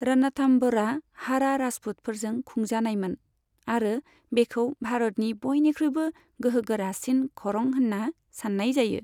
रणथाम्भौरआ हाड़ा राजपूतफोरजों खुंजानायमोन आरो बेखौ भारतनि बयनिख्रुइबो गोहोगारासिन खरं होन्ना सान्नाय जायो।